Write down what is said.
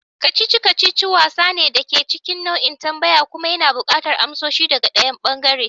kacici-kacici wasa ne da ke cikin nau'in tambaya kuma yana buƙatar amsoshi daga ɗayan ɓangaren.